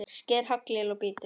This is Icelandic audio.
Sker haglél og bítur.